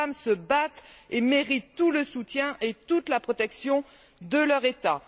Des femmes se battent et méritent tout le soutien et toute la protection de leur État.